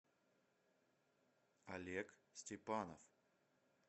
олег степанов